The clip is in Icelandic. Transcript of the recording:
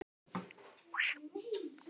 Og mátti það alveg.